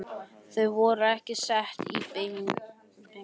Þau voru sett upp í beitingaskúr.